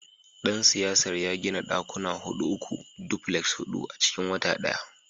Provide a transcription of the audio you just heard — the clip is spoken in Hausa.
dan siyasar ya gina dakuna hudu uku, duplexes hudu a cikin wata daya.